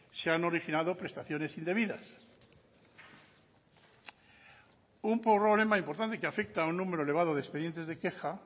se han originado prestaciones indebidas un problema importante que afecta a un número elevado de expedientes de queja